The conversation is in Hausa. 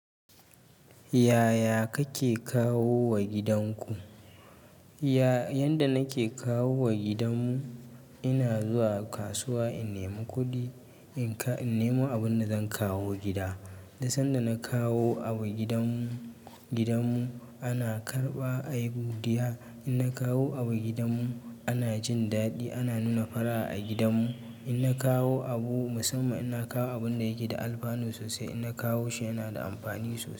Yaya kake kawo wa gidanku? Ya-yanda nake kawo wa gidan mu, ina zuwa kasuwa in nemi kuɗi, in ka-in nemo abun da zan kawo gida. Da sanda na kawo abu gidan mu, gidan mu ana karɓa a yi godiya. In na kawo abu gidan mu ana jin daɗi, ana nuna fara'a a gidan mu. In na kawo abu musamman in na kawo abun da yake da alfanu sosai, in na kawo shi yana da amfani sosai.